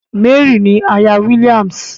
Mary ni àyà William.